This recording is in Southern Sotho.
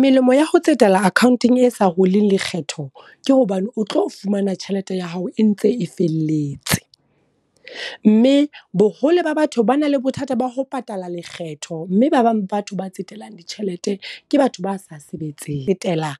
Melemo ya ho tsetela accountong e sa huling lekgetho, ke hobane o tlo fumana tjhelete ya hao e ntse e felletse. Mme boholo ba batho ba na le bothata ba ho patala lekgetho. Mme ba bang batho ba ditjhelete, ke batho ba sa sebetseng. Ho tsetela